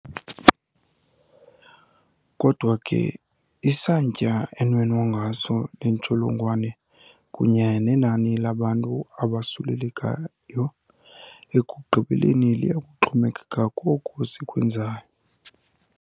Kodwa ke, isantya enwenwa ngaso le ntsholongwane kunye nenani labantu abosulelekayo ekugqibeleni liya kuxhomekeka koko sikwenzayo.